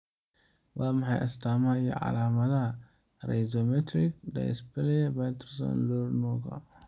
Waa maxay astaamaha iyo calaamadaha Rhizomelic dysplasia Patterson Lowry nooca?